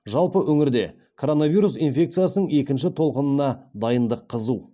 жалпы өңірде короновирус инфекциясының екінші толқынына дайындық қызу